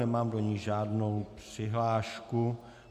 Nemám do ní žádnou přihlášku.